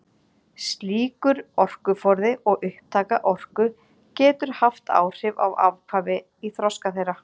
Slíkur orkuforði og upptaka orku getur haft áhrif á afkvæmi í þroska þeirra.